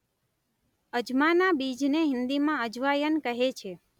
અજમાના બીજને હિંદીમાં અજવાયન કહે છે.